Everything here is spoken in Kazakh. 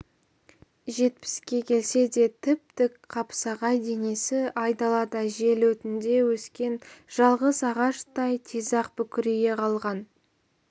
жетпіске келсе де тіп-тік қапсағай денесі айдалада жел өтінде өскен жалғыз ағаштай тез-ақ бүкірейе қалған